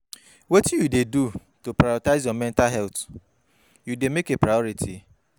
wetin you dey do to prioritize your mental health, you dey make a priority?